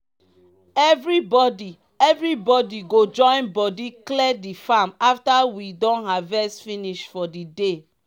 everybody everybody go join body clear the farm after we don harvest finish for the day.